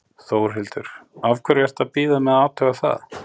Þórhildur: Af hverju ertu að bíða með að athuga það?